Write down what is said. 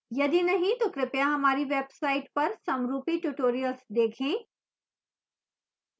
यदि नहीं तो कृपया हमारी website पर समरूपी tutorials देखें